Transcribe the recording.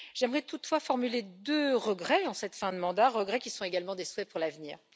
J'aimerais toutefois formuler deux regrets en cette fin de mandat, regrets qui sont également des souhaits pour l'avenir.